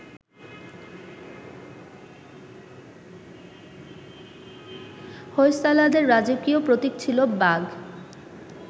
হোয়সালাদের রাজকীয় প্রতীক ছিল বাঘ